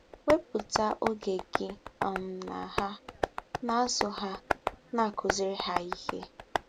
Wepụta oge gị um na ha, na-azụ ha, na-akụziri ha ihe.